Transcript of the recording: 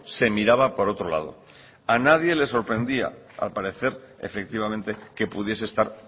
se miraba por otro lado a nadie le sorprendía al parecer efectivamente que pudiese estar